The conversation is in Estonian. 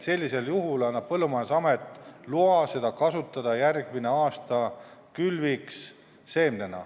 Sellisel juhul annab Põllumajandusamet loa seda kasutada järgmise aasta külviks seemnena.